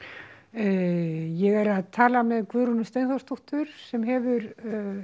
ég er að tala með Guðrúnu Steinþórsdóttur sem hefur